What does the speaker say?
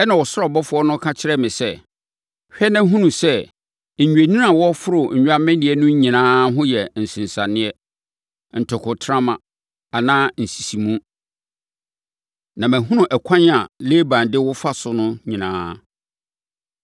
Ɛnna ɔsoro abɔfoɔ no ka kyerɛɛ me sɛ, ‘Hwɛ na hunu sɛ, nnwennini a wɔforo nnwammedeɛ no nyinaa ho yɛ nsensaneɛ, ntokontrama anaa nsisimu, na mahunu ɛkwan a Laban de wo fa so no nyinaa.